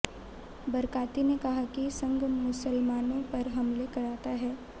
बरकाती ने कहा कि संघ मुसलमानों पर हमले कराता है